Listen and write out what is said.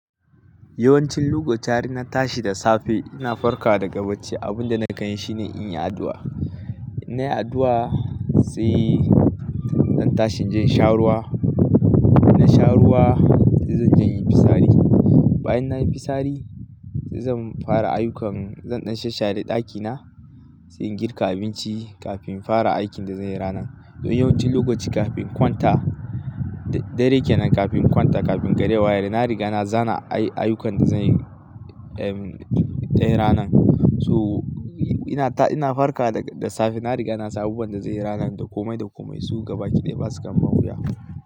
Yawancin lokaci har in na tashi da safe ina farkawa daga bacci, abun da nake yi shine in yi addu'a. In nayi addu'a sai zan tashi in je in sha ruwa. In sha ruwa sai zan je in yi fitsari. Bayan nayi fitsari sai zan fara ayyukan, zan ɗan shara-shara ɗakina sai in girka abinci kafin in fara aikin da zanyi ranar. To yawancin lokaci kafin in kwanta, da dare kenan kafin in kwanta, kafin gari ya waye na riga na tsara ayyukan da zanyi, dayar ranar. So ina farkawq da safe na riga na san abubuwan da zanyi ranar, da komai da komai so gaba ɗaya basu mun wiya.